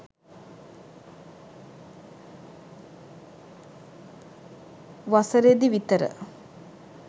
වසරෙදි විතර